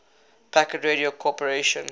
packet radio corporation